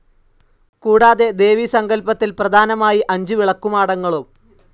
കൂടാതെ ദേവി സങ്കല്പത്തിൽ പ്രധാനമായി അഞ്ചു വിളക്കുമാടങ്ങളും.